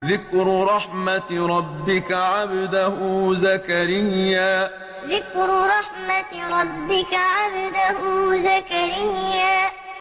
ذِكْرُ رَحْمَتِ رَبِّكَ عَبْدَهُ زَكَرِيَّا ذِكْرُ رَحْمَتِ رَبِّكَ عَبْدَهُ زَكَرِيَّا